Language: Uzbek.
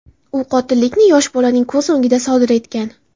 U qotillikni yosh bolaning ko‘z o‘ngida sodir etgan.